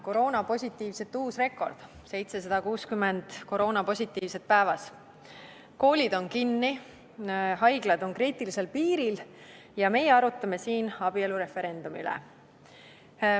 Koroonapositiivsete uus rekord, 760 koroonapositiivset päevas, koolid on kinni, haiglad on kriitilisel piiril – ja meie arutame siin abielureferendumi üle.